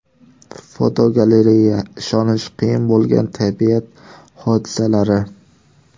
Fotogalereya: Ishonish qiyin bo‘lgan tabiat hodisalari.